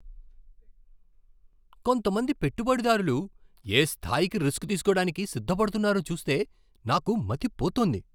కొంతమంది పెట్టుబడిదారులు ఏ స్థాయికి రిస్క్ తీసుకోడానికి సిద్ధపడతున్నారో చూస్తే నాకు మతిపోతోంది.